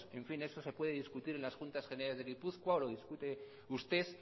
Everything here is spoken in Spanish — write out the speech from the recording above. en fin eso se puede discutir en las juntas generales de gipuzkoa o lo discute usted